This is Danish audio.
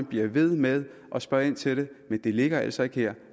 bliver ved med at spørge ind til det det ligger altså ikke her